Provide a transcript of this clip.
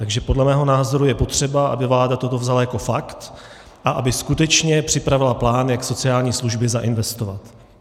Takže podle mého názoru je potřeba, aby vláda toto vzala jako fakt a aby skutečně připravila plán, jak sociální služby zainvestovat.